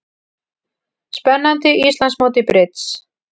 Spennandi Íslandsmót í brids